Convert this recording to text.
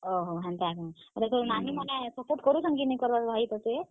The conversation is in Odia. ଓହୋ, ହେନ୍ତା କେଁ, ତୋର ନାନୀ ମାନେ support କରୁଛନ୍ କି ନି କରବାର୍ ରେ ଭାଇ ତତେ?